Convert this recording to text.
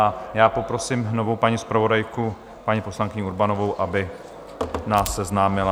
A já poprosím znovu paní zpravodajku paní poslankyni Urbanovou, aby nás seznámila...